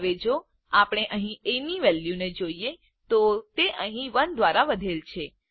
હવે જો આપણે અહીં એ ની વેલ્યુ જોઈએ તો તે અહીં 1 દ્વારા વધેલ છે